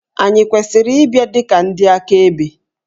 Ànyị kwesịrị ịbịa dị ka ndị akaebe?